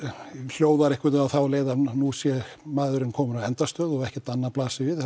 hljóðar á þá leið að nú sé maðurinn kominn á endastöð og ekkert annað blasi við